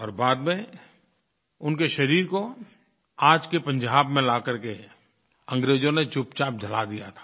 और बाद में उनके शरीर को आज के पंजाब में ला करके अंग्रेजों ने चुपचाप जला दिया था